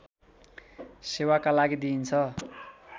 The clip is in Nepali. सेवाका लागि दिइन्छ